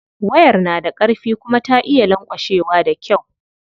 Wayar na da karfi kuma ta iya lanƙwashewa da kyau.